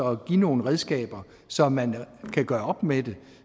og give nogle redskaber så man kan gøre op med det